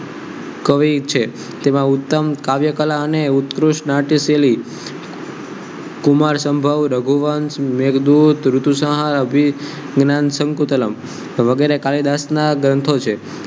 કવિ છે જેમાં ઉત્તમ કાવ્યકલા અને ઉત્કૃષ્ટ નાટ્ય શૈલી કુમાર સંભવ રઘુવંશ મેઘદૂત ઋતુસહાય અભી હિના શંકુતલાવ વગેરે કાલિદાસ ના ગ્રંથો છે